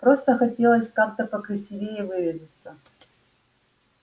просто хотелось как-то покрасивее выразиться